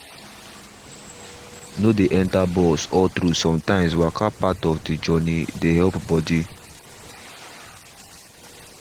no dey enter bus all through sometimes waka part of the journey dey help body.